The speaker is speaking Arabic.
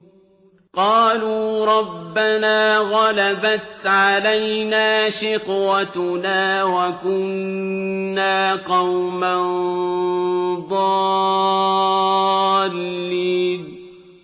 قَالُوا رَبَّنَا غَلَبَتْ عَلَيْنَا شِقْوَتُنَا وَكُنَّا قَوْمًا ضَالِّينَ